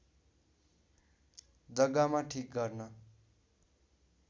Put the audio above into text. जग्गामा ठिक गर्न